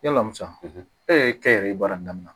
Yala musan e yɛrɛ ye baara in daminɛ